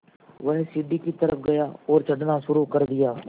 वह सीढ़ी की तरफ़ गया और चढ़ना शुरू कर दिया